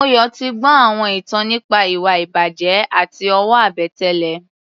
Moyọ̀ ti gbọ́ àwọn ìtàn nípa ìwà-ìbàjẹ́ àti owó-àbẹ̀tẹ́lẹ̀.